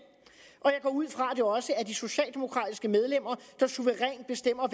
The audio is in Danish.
og jeg går ud fra at det også er de socialdemokratiske medlemmer der suverænt bestemmer